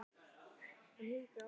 Það er víst aldrei of gætilega farið.